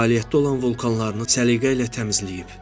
Fəaliyyətdə olan vulkanlarını səliqə ilə təmizləyib.